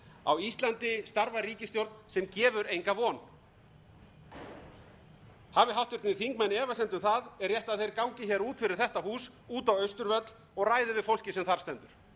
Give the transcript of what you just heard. á íslandi starfar ríkisstjórn sem gefur enga von hafi háttvirtir þingmenn efasemd um það er rétt að þeir gangi hér út fyrir þetta hús út á austurvöll og ræði við fólkið sem þar stendur